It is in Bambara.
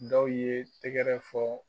Dɔw ye tɛgɛrɛ fɔ